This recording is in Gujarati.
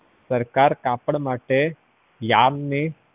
સરકાર કાપડ માટે yan ને